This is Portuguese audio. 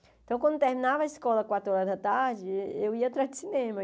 Então, quando eu terminava a escola, quatro horas da tarde, eh eu ia atrás de cinema.